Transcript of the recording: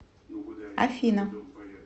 афина